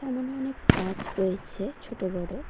সামোনে অনেক গাছ রয়েছে ছোট বড়।